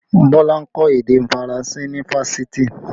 Bọlá ń kọ́ èdè Faranse ní Fáṣítì